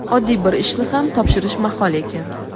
oddiy bir ishni ham topshirish mahol ekan.